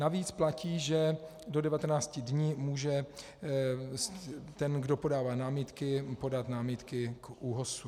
Navíc platí, že do 19 dní může ten, kdo podává námitky, podat námitky k ÚOHS.